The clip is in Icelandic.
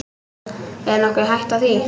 Er nokkur hætta á því?